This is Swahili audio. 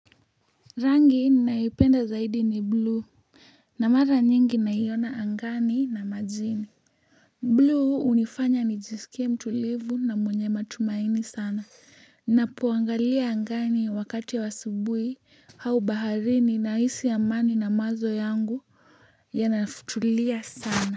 Rangi naipenda zaidi ni blue na mara nyingi naiona angani na majini blue hunifanya nijisikie mtulivu na mwenye matumaini sana napoangalia angani wakati wa asubui au baharini nahisi amani na mawazo yangu yanatulia sana.